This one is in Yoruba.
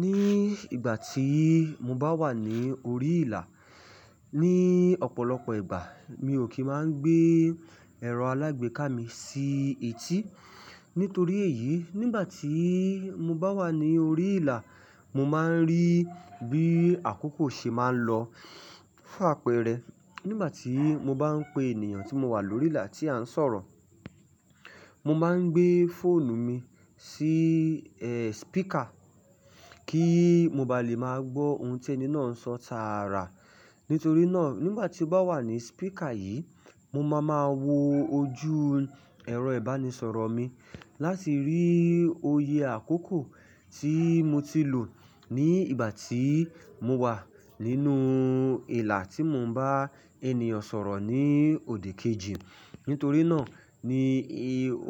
Ní ìgbà tí mo bá wà ní orí ìlà, ní ọ̀pọ̀lọpọ̀ ìgbà mi ò kí máa ń gbé ẹ̀rọ alágbèéká mi sí etí. Nítorí èyí, nígbà tí mo bá wà ní orí ìlà, mo máa ń rí bí àkókò ṣe máa ń lọ f'ápẹ́rẹ́. Nígbà tí mo bá ń pe ènìyàn tí mo wà lórí ìlà tí à ń sọ̀rọ̀, mo máa ń gbé fóònù mi sí, speaker kí mo ba lè máa gbọ́ ohun tí ẹni náà ń sọ tààrà. Nítorí náà, nígbà tí ó bá wà ní speaker yìí, mo máa máa wo ojú ẹ̀rọ ìbánisọ̀rọ̀ mi láti rí òye àkókò tí mo ti lò ní ìgbà tí mo wà nínú ìlà tí mo ń bá ènìyàn sọ̀rọ̀ ní òdì kejì. Nítorí náà ni